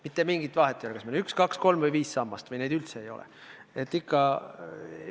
Mitte mingit vahet ei ole, kas meil on üks, kaks, kolm või viis sammast või pole neid üldse.